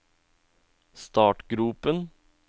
startgropen